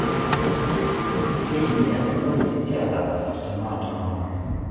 Keitumia irpolisi teagas te maandamano.